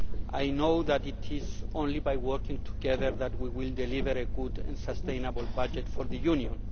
I know it is only by working together that we will deliver a good and sustainable budget for the Union.